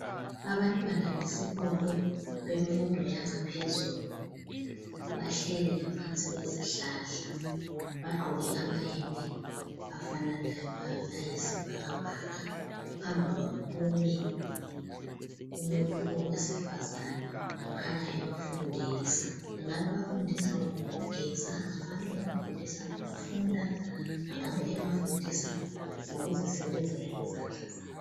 Abantwana besikolo bemfundo yangaphezulu bahleli ngaphansi kwezihlahla bagqoke amayembe afananayo ayisibhakabhaka, phambi kwabo kumi umuntu owesifazana okhanya ebafundisa engabe ebafundisa ngokugeza, angabe ebafundisa ngofunda, angabe ebafundisa ngokuzisebenzela ngezandla zabo.